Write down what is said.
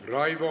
Aitäh!